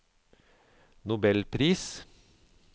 nobelpris